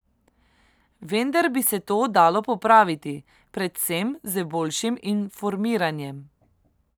Vendar bi se to dalo popraviti, predvsem z boljšim informiranjem.